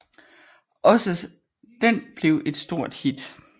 Også den blev et stort hit